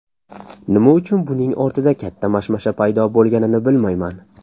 Nima uchun buning ortida katta mashmasha paydo bo‘lganini bilmayman.